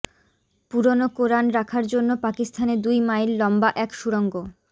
পুরনো কোরান রাখার জন্য পাকিস্তানে দুই মাইল লম্বা এক সুড়ঙ্গ